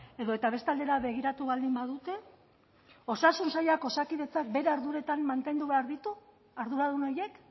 edota beste aldera begiratu baldin badute osasun sailak osakidetzak bere arduretan mantendu behar ditu arduradun horiek